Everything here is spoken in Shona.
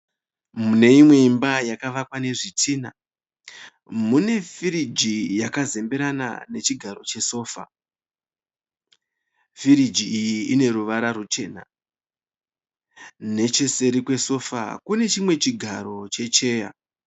Mune imwe imba yakavakwa nezvidhina, muñe firiji yakazemberena nechigaro chesofa. Firiji iyi ine ruvara ruchena. Necheseri kwesofa, kune chimwe chigaro che cheya.